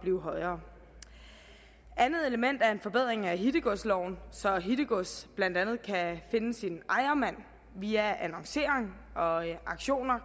blive højere andet element er en forbedring af hittegodsloven så hittegods blandt andet kan finde sin ejermand via annoncering og auktioner